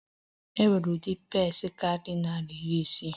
E nwere udi pasta kariri nari iri isii.